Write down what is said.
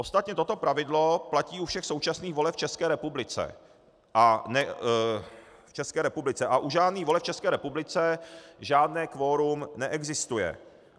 Ostatně toto pravidlo platí u všech současných voleb v České republice a u žádných voleb v České republice žádné kvorum neexistuje.